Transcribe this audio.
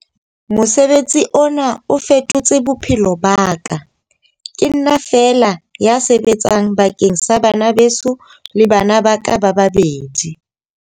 Mosebetsi ona o fetotse bophelo ba ka. Ke nna feela ya sebetsang bakeng sa bana beso le bana ba ka ba babedi.